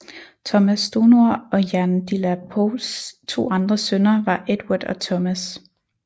Thomas Stonor og Jane de la Poles to andre sønner var Edward og Thomas